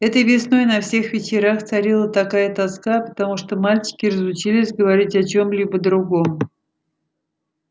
этой весной на всех вечерах царила такая тоска потому что мальчики разучились говорить о чем-либо другом